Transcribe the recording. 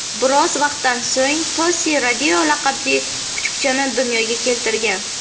Biroz vaqtdan so‘ng, Tosi Rodeo laqabli kuchukchani dunyoga keltirgan.